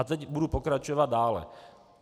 A teď budu pokračovat dále.